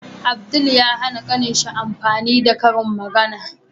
Abdul ya hAna kanin shi yin amfani da karin magAna